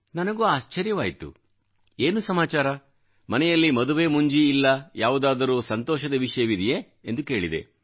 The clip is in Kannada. ನನಗೂ ಆಶ್ಚರ್ಯವಾಯಿತು ಏನು ಸಮಾಚಾರ ಮನೆಯಲ್ಲಿ ಮದುವೆ ಮುಂಜಿ ಇಲ್ಲ ಯಾವುದಾದರೂ ಸಂತೋಷದ ವಿಷಯವಿದೆಯೇ ಎಂದು ಕೇಳಿದೆ